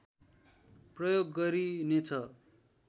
प्रयोग गरिनेछ